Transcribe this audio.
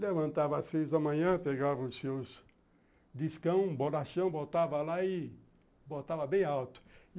Levantava às seis da manhã, pegava os seus discão, bolachão, botava lá e botava bem alto.